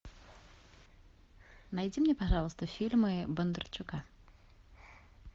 найди мне пожалуйста фильмы бондарчука